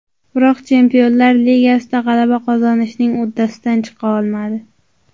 Biroq Chempionlar Ligasida g‘alaba qozonishning uddasidan chiqa olmadi.